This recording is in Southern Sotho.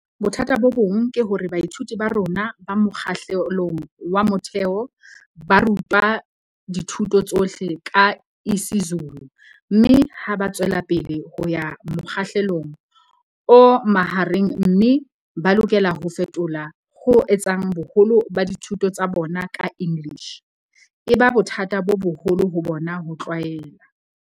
Bothata bo bong ke hore baithuti ba rona ba mokga hlelong wa motheo ba ru twa dithuto tsohle ka isiZulu mme ha ba tswelapele ho ya mokgahlelong o mahareng mme ba lokela ho fetohela ho etseng boholo ba dithuto tsa bona ka English, e ba bothata bo boholo ho bona ho tlwaela.